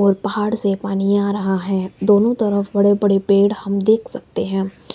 और पहाड़ से पानी आ रहा है दोनों तरफ बड़े बड़े पेड़ हम देख सकते हैं।